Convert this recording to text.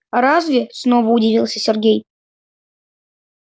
разве снова удивился сергей